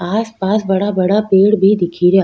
आस पास बड़ा बड़ा पेड़ भी दिखे रिया।